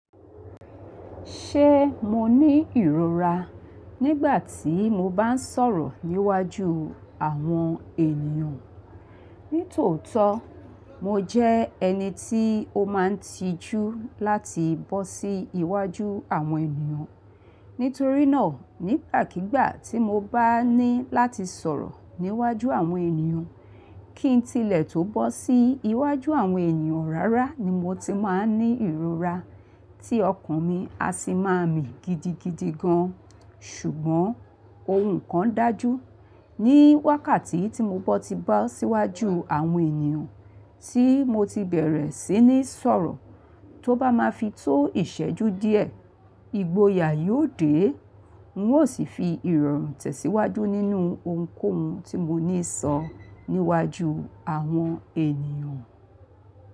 Ṣé mo ní ìrora nígbà tí mo bá ń sọ̀rọ̀ níwájú àwọn ènìyàn? Ní tòótọ́, mo jẹ́ ẹni tí ó máa ń tijú láti bọ́ sí iwájú àwọn ènìyàn. Nítorí náà, nígbàkígbà tí mo bá ní láti sọ̀rọ̀ níwájú àwọn ènìyàn, kí n tilẹ̀ tó bọ́ sí iwájú àwọn ènìyàn rárá ni mo ti máa ń ní ìrora tí ọkàn mi a sì máa mì gidigidi gan. Ṣùgbọ́n ohun kan dájú, ní wákàtí tí mo bá ti bọ́ sí iwájú àwọn ènìyàn tí mo ti bẹ̀rẹ̀ sí ní sọ̀rọ̀, tó bá máa fi tó ìṣẹ́jú díẹ̀, ìgboyà yóò dé, n ó sì fi ìrọ̀rùn tẹ̀síwájú nínú ohunkóhun tí mo níi sọ níwájú àwọn ènìyàn.